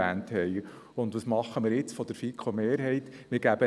Und was macht jetzt die Mehrheit der FiKo?